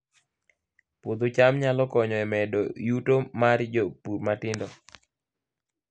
Puodho cham nyalo konyo e medo yuto mar jopur matindo